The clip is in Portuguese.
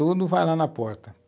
Tudo vai lá na porta.